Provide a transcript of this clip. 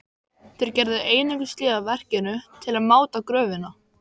Þeir gerðu einungis hlé á verkinu til að máta gröfina.